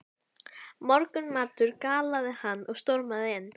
Morgunmatur galaði hann og stormaði inn.